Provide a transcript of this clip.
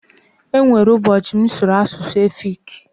E nwere ụbọchị m sụrụ asụsụ efiki.